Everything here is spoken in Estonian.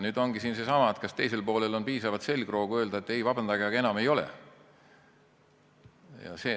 Nüüd ongi seesama küsimus, kas teisel poolel on piisavalt selgroogu öelda, et ei, vabandage, aga enam ei ole.